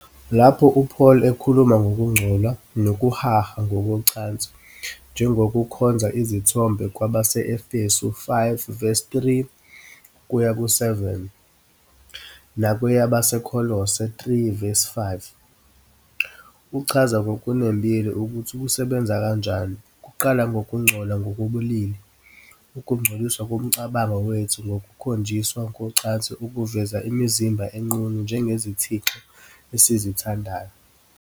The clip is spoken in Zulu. Lapho uPaul ekhuluma ngokungcola nokuhaha ngokocansi njengokukhonza izithombe kwabase-Efesu 5 verse 3 kuya ku-7 nakweyabaseKolose 3 verse 5, uchaza ngokunembile ukuthi kusebenza kanjani. Kuqala ngokungcola ngokobulili, ukungcoliswa komcabango wethu ngokukhonjiswa kocansi okuveza imizimba enqunu njengezithixo esizithandayo.